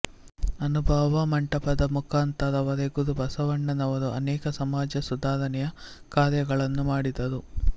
ಅನುಭಾವ ಮಂಟಪದ ಮುಖಾಂತರವೇ ಗುರುಬಸವಣ್ಣನವರು ಅನೇಕ ಸಮಾಜ ಸುಧಾರಣೆಯ ಕಾರ್ಯಗಳನ್ನು ಮಾಡಿದರು